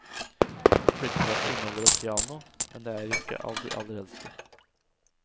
Flyttelasset inneholder et piano, men det er ikke av de aller eldste.